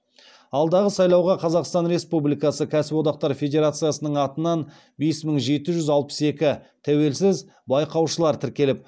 алдағы сайлауға қазақстан республикасы кәсіподақтар федерациясының атынан бес мың жеті жүз алпыс екі тәуелсіз байқаушылар тіркеліп